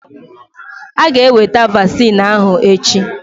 Aga eweta vaccine ahụ echi